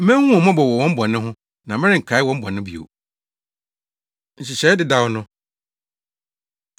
Mehu wɔn mmɔbɔ wɔ wɔn bɔne ho; na merenkae wɔn bɔne bio.” Nhyehyɛe Dedaw No